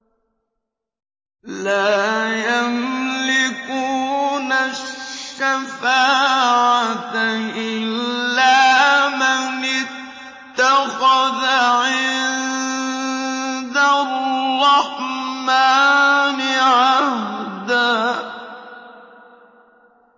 لَّا يَمْلِكُونَ الشَّفَاعَةَ إِلَّا مَنِ اتَّخَذَ عِندَ الرَّحْمَٰنِ عَهْدًا